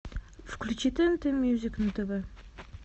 включи тнт мьюзик на тв